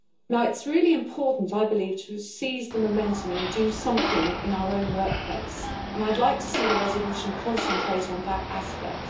It is really important, I believe, to seize the momentum, and do something in our own workplace and I'd like to see the resolution concentrate on that aspect.